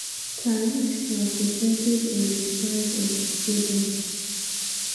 tariffs na percentage of di price of di product.